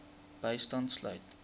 bystand sluit